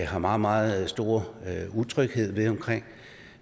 har meget meget stor utryghed omkring